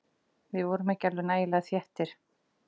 Við vorum ekki alveg nægilega þéttir.